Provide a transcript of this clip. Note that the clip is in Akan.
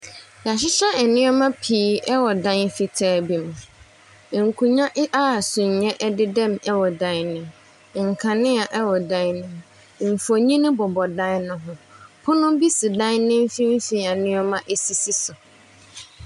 Wɔhyehyɛ nneɛma nneɛma pii wɔ dan bi mu. Nkonnwa bi a sumiiɛ dedam wɔ dan no mu. Nkanea wɔ dan no mu. Mfonin bobɔ dan no ho. Ponobi si dan no mfimfini a nneɛma sisi so.